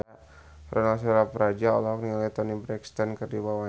Ronal Surapradja olohok ningali Toni Brexton keur diwawancara